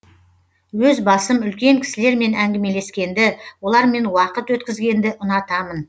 өз басым үлкен кісілермен әңгімелескенді олармен уақыт өткізгенді ұнатамын